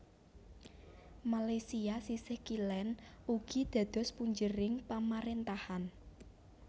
Malaysia sisih kilen ugi dados punjering pamarentahan